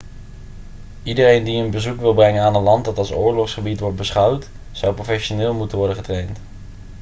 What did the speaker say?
iedereen die een bezoek wil brengen aan een land dat als oorlogsgebied wordt beschouwd zou professioneel moeten worden getraind